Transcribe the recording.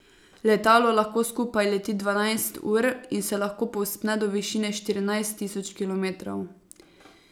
Letalo lahko skupaj leti dvanajst ur in se lahko povzpne do višine štirinajst tisoč kilometrov.